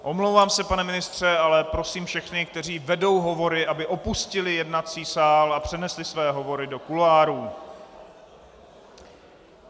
Omlouvám se, pane ministře, ale prosím všechny, kteří vedou hovory, aby opustili jednací sál a přenesli své hovory do kuloárů.